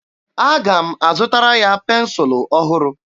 Aga m azụtara ya pensụlụ ọhụrụ.